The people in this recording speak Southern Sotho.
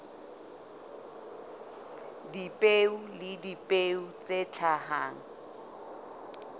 dipeo le dipeo tse hlahang